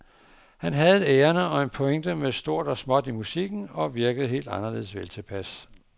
Han havde et ærinde og en pointe med stort og småt i musikken og virkede helt anderledes veltilpas.